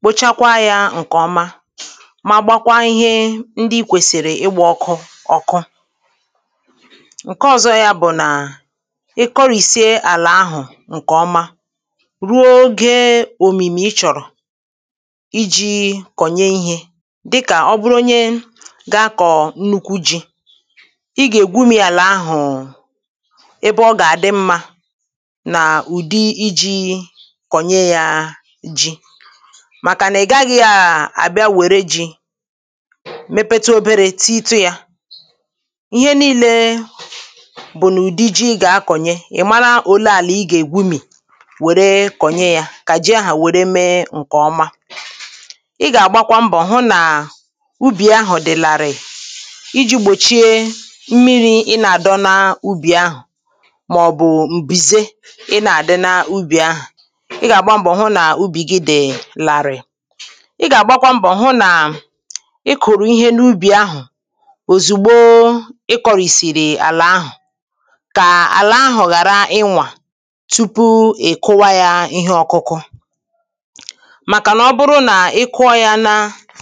kpochakwaa yȧ ǹkè ọma ma gbakwaa ihe ndị i kwèsìrì ịgbȧ ọkụ ọ̀kụ[paues] ǹke ọ̀zọ yȧ bụ̀ nà à ị kòrìsie àlà ahụ̀ ǹkè ọma ruo ogė òmìmì ị chọ̀rọ̀ iji konye ihe dịkà ọ bụrụnye ga kọ̀ọ̀ nnukwu ji̇ ị gà ègwumi̇ yà là ahụ̀ ebe ọ gà àdị mmȧ nà ụ̀dị iji̇ kọ̀nye yȧ ji̇ màkà nà ị gaghị̇ um àbịa wère ji̇ [paues] mepetu obere tị ịtu yȧ ihe nii̇lė bụ̀ nà ụ̀dị ji gà akọ̀nye ị̀ mara òle àlà ị gà ègwumi̇ wère kọ̀nye yȧ kà ji ahà wère mee ǹkè ọma I ga agbakwa mbọ hụ na ubì ahụ̀ dị̀ larịị̀ iji̇ gbòchie mmiri̇ ị nà-àdọ na ubì ahụ̀ màọ̀bụ̀ m̀bìze ị nà-àdọ na ubì ahụ̀ ị gà-àgba mbọ̀ hụ nà ubì gị dị̀ larịị̀ ị gà-àgba kwa mbọ̀ hụ nà ị kụ̀rụ̀ ihe n’ubì ahụ̀ òzùgbo ị kọ̀rì̀sìrì àlà ahụ̀ kà àlà ahụ̀ ghàra ịnwà tupu ị̀ kụwa yȧ ihe ọkụkụ màkà nà ọ bụrụ nà ị kụọ yȧ na